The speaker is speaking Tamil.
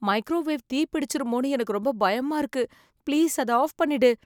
மைக்ரோவேவ் தீ பிடிச்சுருமோன்னு எனக்கு ரொம்ப பயமா இருக்கு. ப்ளீஸ் அத ஆஃப் பண்ணிடு.